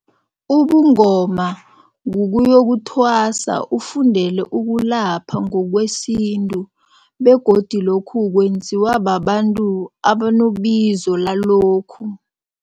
Ubungoma kukuyokuthwasa, ufundele ukulapha ngokwesintu begodu lokhu kwenziwa babantu abanobizo lalokhu.